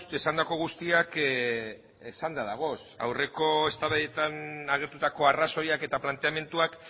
esandako guztiak esanda dagoz aurreko eztabaidetan agertutako arrazoiak eta planteamenduak